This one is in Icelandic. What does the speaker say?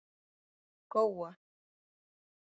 Góa